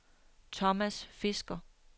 Thomas Fisker